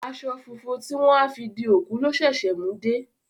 Aṣọ funfun tí wọ́n á fi di òkú lọ ṣẹ̀ṣẹ̀ mú dé